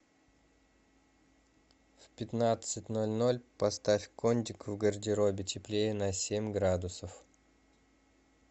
в пятнадцать ноль ноль поставь кондик в гардеробе теплее на семь градусов